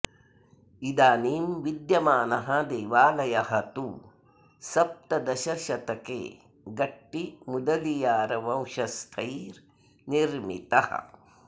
इदानीं विद्यमानः देवालयः तु सप्तदशशतके गट्टि मुदलियारवंशस्थैः निर्मितः